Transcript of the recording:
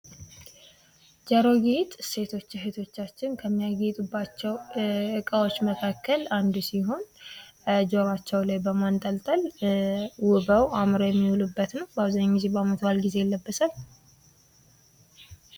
ጆሮ ጌጥ ሴቶች እህቶቻችን ከሚያጌጡባቸው እቃዎች መካከል አንዱ ሲሆን ጆሯቸው ላይ በማንጠልጥል ተውበው አምረው የሚውሉበት ነው ።በአብዛኛው ጊዜ በአመት ባዓል ይለበሳል።